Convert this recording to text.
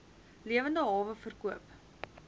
lewende hawe verkoop